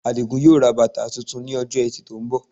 Àdìgún yóò ra bàtà tuntun ní Ọjọ́ Ẹtì tó ń bọ̀